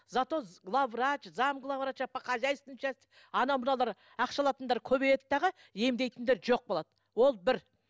зато главврач зам главврача по хозяйственной части анау мынаулар ақша алатындар көбейеді дағы емдейтіндер жоқ болады ол бір